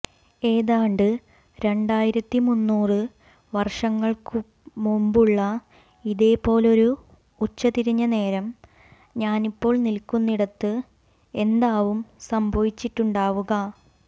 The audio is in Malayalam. എതാണ്ട് രണ്ടായിരത്തിമുന്നൂറ് വർഷങ്ങൾക്കുമുമ്പുള്ള ഇതേപോലൊരു ഉച്ചതിരിഞ്ഞനേരം ഞാനിപ്പോൾ നിൽക്കുന്നിടത്ത് എന്താവും സംഭവിച്ചിട്ടുണ്ടാവുക